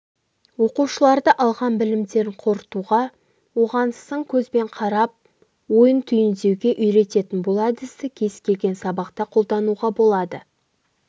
оқушыларды алған білімдерін қорытуға оған сын көзбен қарап ойын түйіндеуге үйрететін бұл әдісті кез келген сабақта қолдануға болады